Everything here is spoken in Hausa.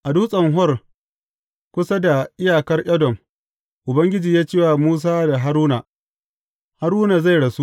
A Dutsen Hor, kusa da iyakar Edom, Ubangiji ya ce wa Musa da Haruna, Haruna zai rasu.